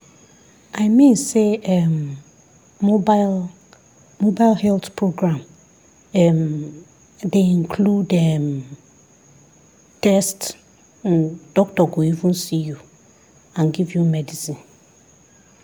i mean say um mobile mobile health program um dey include um guest doctor go even see you and give you medicine.